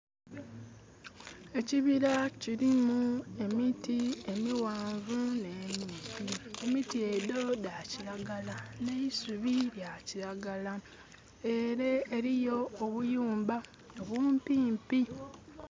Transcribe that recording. Ekibira kirimu emiti emighanvu ne mimpi. Emiti edho dha kiragala ne'isubi lyakiragala. Ere eriyo obuyumba bumpimpi.